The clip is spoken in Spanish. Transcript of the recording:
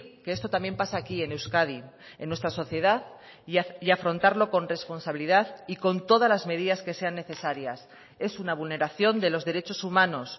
que esto también pasa aquí en euskadi en nuestra sociedad y afrontarlo con responsabilidad y con todas las medidas que sean necesarias es una vulneración de los derechos humanos